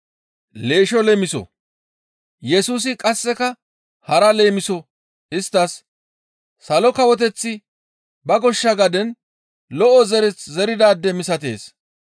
Yesusi qasseka hara leemiso isttas, «Salo Kawoteththi ba goshsha gaden lo7o zereth zeridaade misatees.